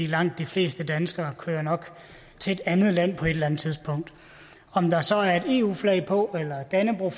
langt de fleste danskere kører nok til et andet land på et eller andet tidspunkt om der så er et eu flag på eller et dannebrog